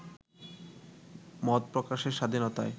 মত প্রকাশের স্বাধীনতায়